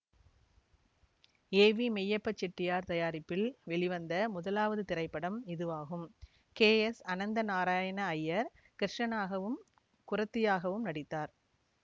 AV மெய்யப்பச் செட்டியார் தயாரிப்பில் வெளிவந்த முதலாவது திரைப்படம் இதுவாகும் கே எஸ் அனந்தநாராயண ஐயர் கிருஷ்ணனாகவும் குறத்தியாகவும் நடித்தார்